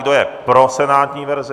Kdo je pro senátní verzi?